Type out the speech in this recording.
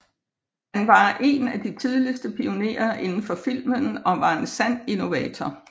Han var en af de tidligste pionerer inden for filmen og var en sand innovator